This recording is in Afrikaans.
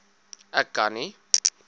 ek kan nie